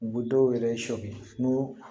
U bɛ dɔw yɛrɛ sɔbi n'u ye